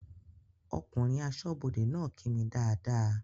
Ọkùnrin aṣọ́bọdè náà kí mi dáadáa